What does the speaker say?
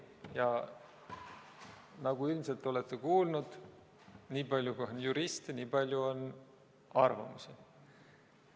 Ja nagu te ilmselt olete kuulnud, nii palju, kui on juriste, nii palju on arvamusi.